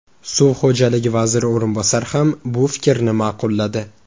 Suv xo‘jaligi vaziri o‘rinbosari ham bu fikrni ma’qulladi.